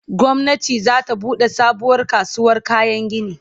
gwamnati zata buɗe sabuwar kasuwar kayan gini